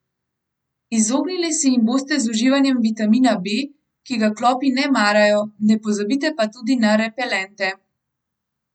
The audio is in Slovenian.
Izognili se jim boste z uživanjem vitamina B, ki ga klopi ne marajo, ne pozabite pa tudi na repelente.